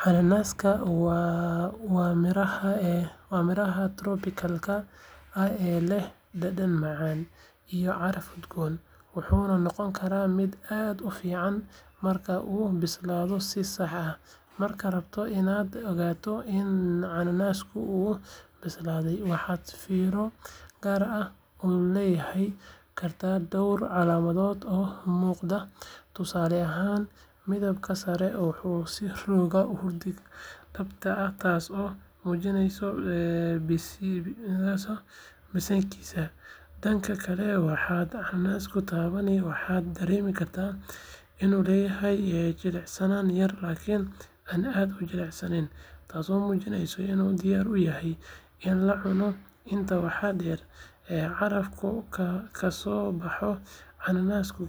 Cananaaska waa midhaha tropikalka ah ee leh dhadhan macaan iyo caraf udgoon, wuxuuna noqon karaa mid aad u fiican marka uu bislaado si sax ah. Markaad rabto inaad ogaato in cananaaska uu bislaaday, waxaad fiiro gaar ah u yeelan kartaa dhowr calaamadood oo muuqda. Tusaale ahaan, midabkiisa sare wuxuu isu rogaa hurdi dahabi ah taasoo muujinaysa bisaylkiisa. Dhanka kale, markaad cananaaska taabato, waxaad dareemi kartaa inuu leeyahay jilicsanaan yar laakiin aan aad u jilicsanayn taasoo muujinaysa in uu diyaar u yahay in la cuno. Intaa waxaa dheer, carafka ka soo baxa cananaaska,